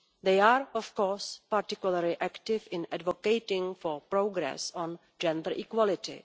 They are, of course, particularly active in advocating for progress on gender equality.